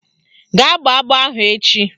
Gaa gbọọ agbọ ahụ echi!